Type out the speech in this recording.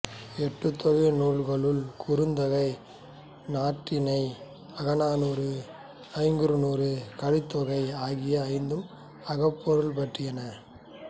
எட்டுத்தொகை நூல்களுள் குறுந்தொகை நற்றிணை அகநானூறு ஐங்குறுநூறு கலித்தொகை ஆகிய ஐந்தும் அகப்பொருள் பற்றியன